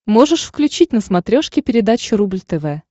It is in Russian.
можешь включить на смотрешке передачу рубль тв